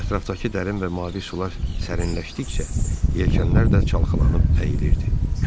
Ətrafdakı dərin və mavi sular sərinləşdikcə yelkənlər də çalxalanıb əyilirdi.